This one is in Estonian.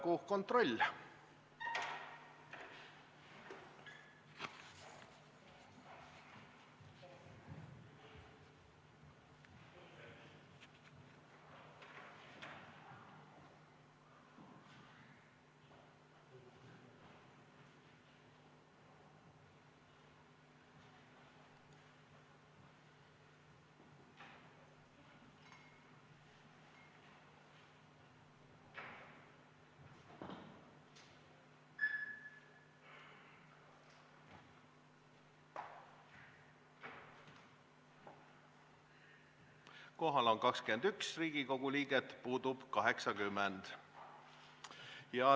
Kohaloleku kontroll Kohal on 21 Riigikogu liiget, puudub 80.